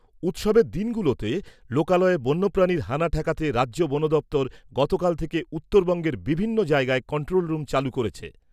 উৎসবের দিনগুলিতে লোকালয়ে বন্যপ্রানীর হানা ঠেকাতে রাজ্য বন দপ্তর গতকাল থেকে উত্তরবঙ্গের বিভিন্ন জায়গায় কন্ট্রোল রুম চালু করেছে।